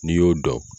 N'i y'o dɔn